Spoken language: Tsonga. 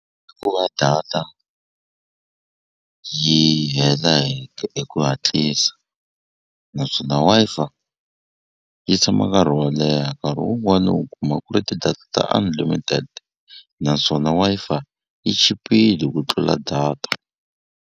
I ku va data yi hela hi ku hatlisa naswona Wi-Fi yi tshama nkarhi wo leha nkarhi wun'wani u kuma ku ri ti-data unlimited naswona Wi-Fi yi chipile ku tlula data.